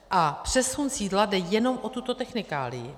A přesun sídla, jde jenom o tuto technikálii.